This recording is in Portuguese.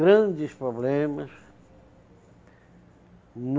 Grandes problemas.